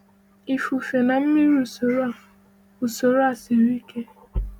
Ifufe na mmiri usoro a usoro a siri ike.